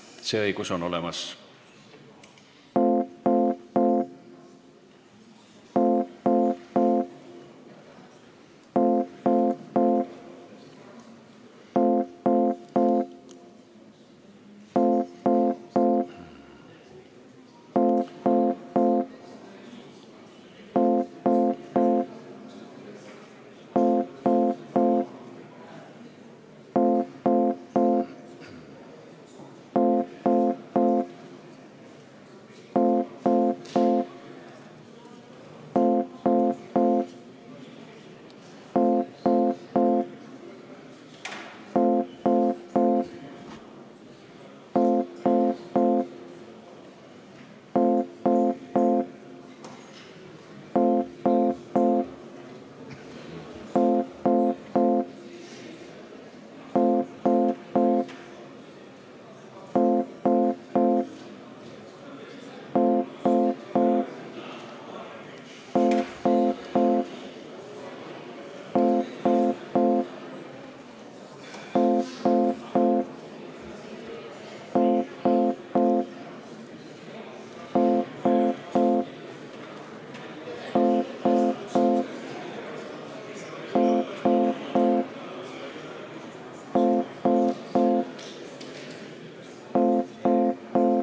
See õigus on olemas.